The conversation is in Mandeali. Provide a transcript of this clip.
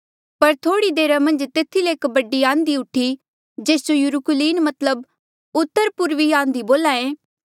पर थोह्ड़ी देरा मन्झ तेथी ले एक बडी आंधी उठी जेस जो यूरकुलीन मतलब उतरपूर्वी आंधी बोल्हा ऐें